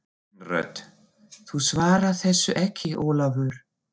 Kvenrödd: Þú svarar þessu ekki Ólafur!